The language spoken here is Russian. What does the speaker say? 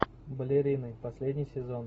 балерина последний сезон